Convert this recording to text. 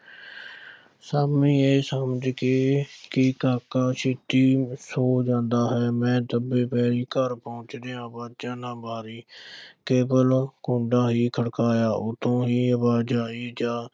ਸ਼ਾਮੀਂ ਇਹ ਸਮਝ ਕੇ ਕਿ ਕਾਕਾ ਛੇਤੀ ਸੌਂ ਜਾਂਦਾ ਹੈ, ਮੈਂ ਦਬੇ ਪੈਰੀਂ ਘਰ ਪਹੁੰਚਦਿਆਂ ਅਵਾਜ਼ ਨਾ ਮਾਰੀ ਕੇਵਲ ਕੁੰਡਾ ਹੀ ਖੜਕਾਇਆ, ਉੱਤੋਂ ਹੀ ਅਵਾਜ਼ ਆਈ, ਜਾ